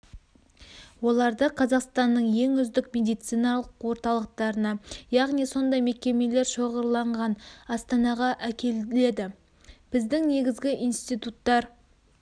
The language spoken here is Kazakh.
оларды қазақстанның ең үздік медициналық орталықтарына яғни сондай мекемелер шоғырланған астанаға әкеледі біздің негізгі институттар